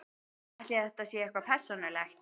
Ætli þetta sé eitthvað persónulegt?